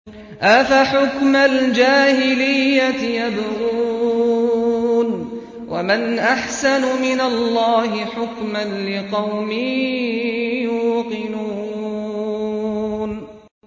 أَفَحُكْمَ الْجَاهِلِيَّةِ يَبْغُونَ ۚ وَمَنْ أَحْسَنُ مِنَ اللَّهِ حُكْمًا لِّقَوْمٍ يُوقِنُونَ